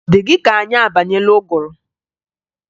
Ọ dị gị ka anyị abanyeela ụgụrụ?